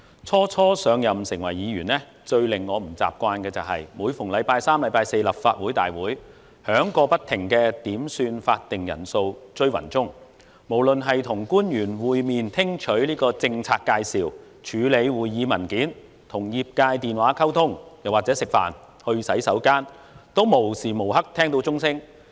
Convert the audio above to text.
初上任成為議員，最令我不習慣的是，每逢星期三四立法會大會響過不停的點算法定人數"追魂鐘"，無論是與官員會面聽取政策介紹、處理會議文件、與業界電話溝通，又或是吃飯、上洗手間，都無時無刻聽到鐘聲。